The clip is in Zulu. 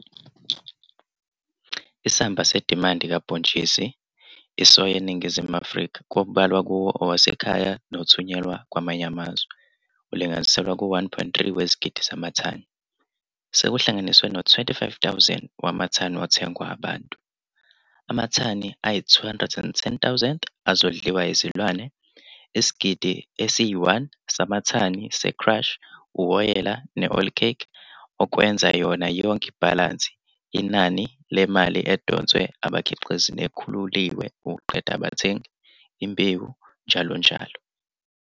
Isamba sedimandi kabhontshisi isoya eNingizimu Afrika, okubalwa kuwo owasekhaya nothunyelwa kwamanye amazwe ulinganiselwa ku-1,3 wezigidi zamathani, sekuhlanganiswe no-25,000 wamathani wothengwa abantu, amathani ayi-210,000 azodliwa yizilwane, isigidi esi-1 samathani se-crush, uwoyela ne-oilcake, okwenza yona yonke ibhalansi, inani lemali edonswe abakhiqizi nekhululiwe ukuqeda abathengi, imbewu njll.